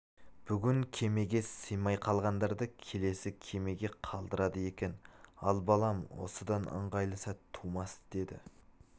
бүгін кемеге сыймай қалғандарды келесі кемеге қалдырады екен ал балам осыдан ыңғайлы сәт тумас деді